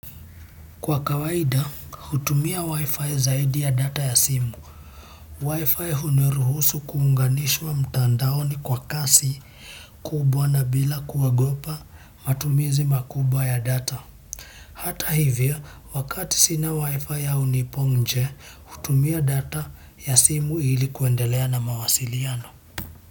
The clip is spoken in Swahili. Kwa kawaida, hutumia wifi zaidi ya data ya simu. Wifi huniruhusu kuunganishwa mtandaoni kwa kasi kubwa na bila kuogopa matumizi makubwa ya data. Hata hivyo, wakati sina wifi au nipo nje, hutumia data ya simu ilikuendelea na mawasiliano.